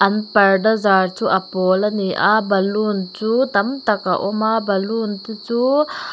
an parda zar chu a pawl a ni a balloon chu tamtak a awm a balloon te chu--